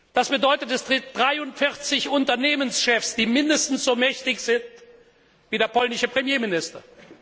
Das bedeutet, es gibt 43 Unternehmenschefs, die mindestens so mächtig sind wie der polnische Premierminister.